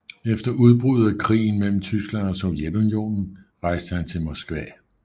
Efter udbruddet af krigen mellem Tyskland og Sovjetunionen rejste han til Moskva